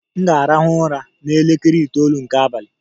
M ga-arahụ ụra n'elekere itoolu nke abalị.